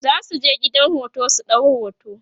zasuje gidan hoto su ɗau hoto